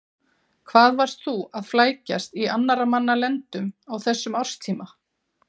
Hvað varst þú að flækjast í annarra manna lendum á þessum árstíma?